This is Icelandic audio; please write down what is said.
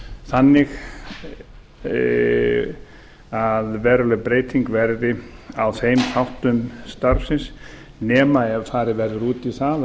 þannig að veruleg breyting verði á þeim þáttum starfsins nema ef farið verið út í það